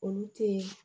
Olu tee